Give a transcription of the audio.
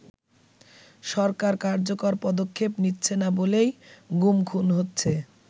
“সরকার কার্যকর পদক্ষেপ নিচ্ছেনা বলেই গুম খুন হচ্ছে”।